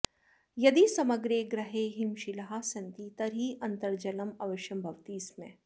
यदि समग्रे ग्रहे हिमशिलाः सन्ति तर्हि अन्तर्जलम् अवश्यं भवति स्म